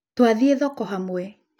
Twathiĩ thoko hamwe